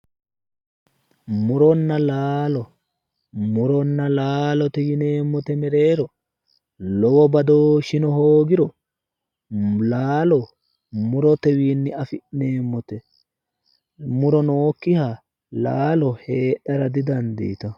muronna laalo muronna laalote yineemmote mereero lowo badooshshino hoogiro laalo murotewiinni afi'neemmote muro nookkiha laalo heedhara didandiitenno.